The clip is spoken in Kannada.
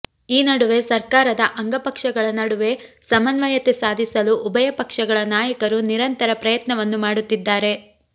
ಈ ನಡುವೆ ಸರ್ಕಾರದ ಅಂಗಪಕ್ಷಗಳ ನಡುವೆ ಸಮನ್ವಯತೆ ಸಾಧಿಸಲು ಉಭಯ ಪಕ್ಷಗಳ ನಾಯಕರು ನಿರಂತರ ಪ್ರಯತ್ನವನ್ನು ಮಾಡುತ್ತಿದ್ದಾರೆ